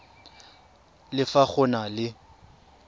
le fa go na le